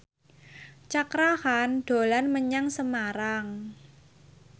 Cakra Khan dolan menyang Semarang